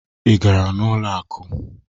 Ị gara n'ụlọ akụ?